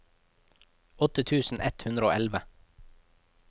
åtte tusen ett hundre og elleve